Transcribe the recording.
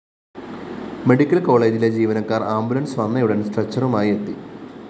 medical കോളേജിലെ ജീവനക്കാര്‍ ambulance വന്നയുടന്‍ സ്‌ട്രെച്ചറുമായി എത്തി